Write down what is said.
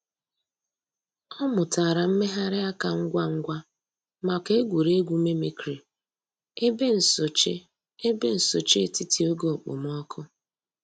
Ọ̀ mùtárà mmèghàrì àkà ngwá ngwá mǎká ègwè́régwụ̀ mimicry èbè nsòché èbè nsòché ètítì ògè òkpòmọ́kụ̀.